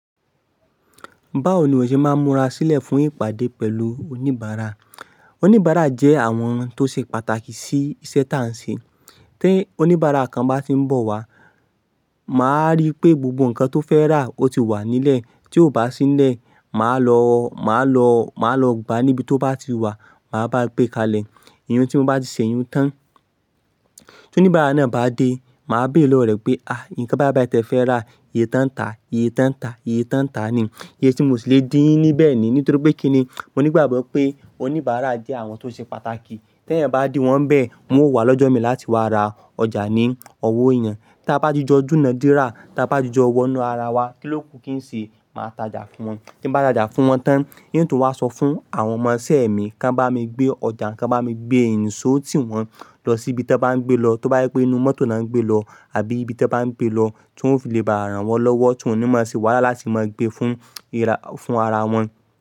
Báwo ni o ṣe máa ń múra sílẹ̀ fún ìpàdé pẹ̀lú oníbàárà? Oníbàárà jẹ́ àwọn ẹni tó ṣe pàtàkì sí iṣẹ́ táà ń ṣe. Tí oníbàárà kan bá ti ń bọ̀ wá, màá rí pé gbogbo nǹkan tó fẹ́ rà ó ti wà nílẹ̀. Tí ò bá sí nílẹ̀, màá lọ, màá lọ, màá lọ gba níbi tó bá ti wà, màá bá gbé kalẹ̀. Iyùn tí mo bá ti ṣèyún tán. Tí oníbàárà náà bá dé, màá béèrè lọ́wọ́ rẹ̀ pé, "ikan báyi báyì báyì tẹ fẹ́ rà, iye tán ta, iye tán ta, iye tán ta ni. Iye tí mo sì lè dín yín ní bẹ̀ ni." Nítorí pé kíni, mo ní ìgbàgbọ́ pé oníbàárà jẹ́ àwọn tó ṣe pàtàkì. Tẹ́ èyàn bá di wọ́n bẹ́ẹ̀, wọn ó wà lọ́jọ́ mi láti wá ra ọjà ní owó èyàn. Ta bá ti jọ dúnná dírá, ta bá ti jó wọnú ara wa, kíló kú kí n ṣe máa tajà fún wọn. Tí ń bá tajà fún wọn tán, ń tú wá sọ fún àwọn ọmọ isẹ́ mi kó bá mi gbé ọjà, kò bá mi gbé niso tí wọ́n lọ síbi tó bá ń gbé lọ. Tó bá yé pé inú mọ́tò ni wọ́n ń gbé lọ àbí ibi tó bá ń gbé lọ tí wọ́n ò fi lle bá rán wọn lọ́wọ́ tí wọ́n ò ní máa sè wáhàlá láti máa gbé fún, fún ara wọn.